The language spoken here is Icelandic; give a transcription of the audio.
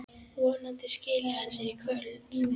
Vonandi skili hann sér í kvöld.